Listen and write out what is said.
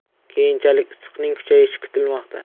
Keyinchalik issiqning kuchayishi kutilmoqda.